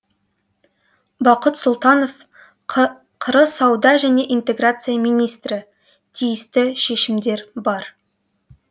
бақыт сұлтанов қр сауда және интеграция министрі тиісті шешімдер бар